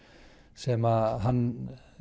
sem hann